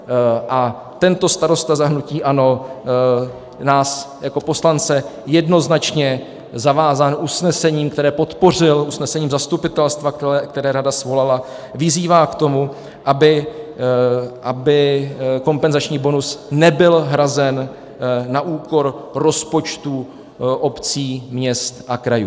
A tento starosta za hnutí ANO nás jako poslance jednoznačně zavázal usnesením, které podpořil, usnesením zastupitelstva, které rada svolala, vyzývá k tomu, aby kompenzační bonus nebyl hrazen na úkor rozpočtů obcí, měst a krajů.